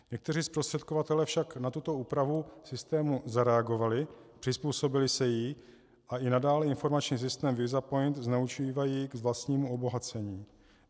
Někteří zprostředkovatelé však na tuto úpravu v systému zareagovali, přizpůsobili se jí a i nadále informační systém VISAPOINT zneužívají k vlastnímu obohacení.